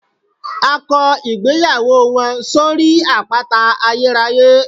A kó ìgbéyàwó wọn sórí àpáta ayérayé